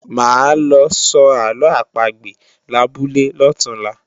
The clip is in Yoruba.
Máa lọ sọ àlọ́ àpagbè labúlé lọ̀túnla